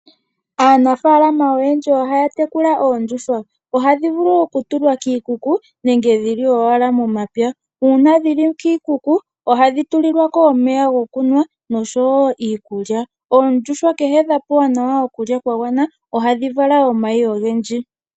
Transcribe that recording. Aanafaalama oyendji ohaya tekula oondjuhwa, ohadhi vulu okutulwa kiikuku nenge dhili owala momapya. Uuna dhili kiikuku ohadhi tulilwako omeya gokunwa nosho wo iikulya. Oondjuhwa kehe dhapewa nawa okulya kwa gwana ohadhi vala omayi ogendji.